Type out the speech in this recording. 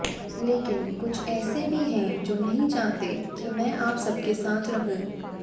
लेकिन कुछ ऐसे भी हैं जो नहीं चाहते कि मैं आप सबके साथ रहूं